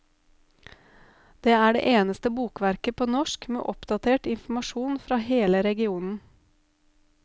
Det er det eneste bokverket på norsk med oppdatert informasjon fra hele regionen.